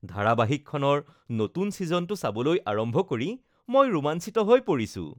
ধাৰাবাহিকখনৰ নতুন ছিজনটো চাবলৈ আৰম্ভ কৰি মই ৰোমাঞ্চিত হৈ পৰিছো!